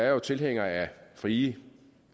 jo tilhænger af frie